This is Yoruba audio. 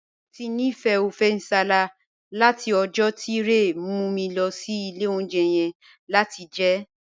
Mo ti nifẹ ọfẹ̀ nsálà̀ lati ọ̀jọ̀ ti Rẹ̀ mu mi lọ sí ilẹ̀ ọ̀unjẹ̀ yẹn lati jẹ ẹ.